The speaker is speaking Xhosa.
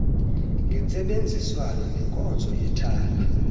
ngentsebenziswano nenkonzo yethala